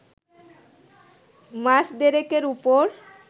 মাস দেড়েকের ওপর